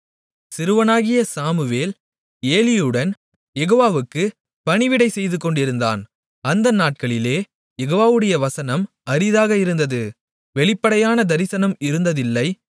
சிறுவனாகிய Samuel ஏலியுடன் யெகோவாவுக்குப் பணிவிடை செய்துகொண்டிருந்தான் அந்த நாட்களிலே யெகோவாவுடைய வசனம் அரிதாக இருந்தது வெளிப்படையான தரிசனம் இருந்ததில்லை